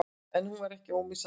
En hún var ekki ómissandi.